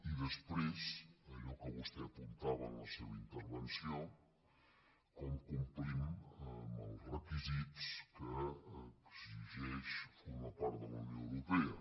i després allò que vostè apuntava en la seva intervenció com complim amb els requisits que exigeix formar part de la unió europea